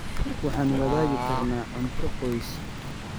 Waxaan wadaagi karnaa cunto qoys.